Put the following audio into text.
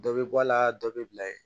Dɔ bɛ bɔ a la dɔ bɛ bila ye